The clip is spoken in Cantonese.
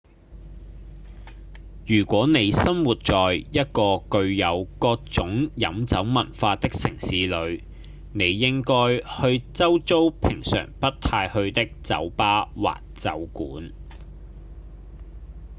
如果你生活在一個具有各種飲酒文化的城市裡你應該去周遭平常不太去的酒吧或酒館